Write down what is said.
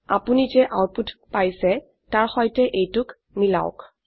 আপোনি যে আউটপুট পাচ্ইছে তাৰ সৈতে এইটোক মিলাওক